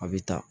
A bɛ ta